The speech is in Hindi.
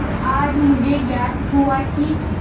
पर आज मुझे ज्ञात हुआ कि